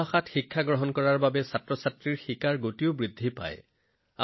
নিজৰ ভাষাত শিক্ষা গ্ৰহণ কৰিলেও শিশুৰ পঢ়াশুনা ক্ষিপ্ৰ হয়